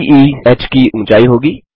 be h की ऊँचाई होगी